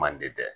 Manden dɛ